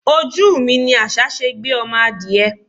Ojú mi ní àṣà ṣe gbé ọmọ adìẹ.